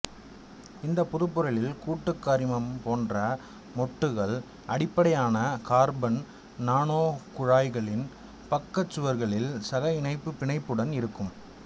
இந்தப் புதுப்பொருளில் கூடுக்கரிமம்போன்ற மொட்டுகள் அடிப்படையான கார்பன் நானோகுழாய்களின் பக்கச்சுவர்களில் சக இணைப்பு பிணைப்புடன் இருக்கும்